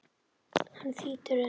Hann þýtur inn.